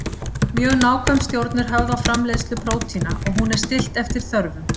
Mjög nákvæm stjórn er höfð á framleiðslu prótína og hún er stillt eftir þörfum.